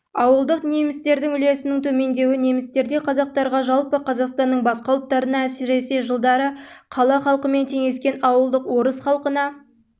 ауылдық немістердің үлесінің төмендеуі немістерде қазақтарға жалпы қазақстанның басқа ұлттарына әсіресе жылдары қала халқымен теңескен ауылдық орыс халқына